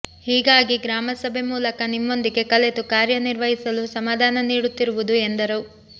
ಹೀಗಾಗಿ ಗ್ರಾಮ ಸಭೆ ಮೂಲಕ ನಿಮ್ಮೊಂದಿಗೆ ಕಲೆತು ಕಾರ್ಯ ನಿರ್ವಹಿಸಲು ಸಮಾಧಾನ ನೀಡುತ್ತಿರುವುದು ಎಂದರು